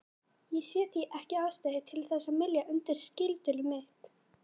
Ég sé því ekki ástæðu til þess að mylja undir skyldulið mitt.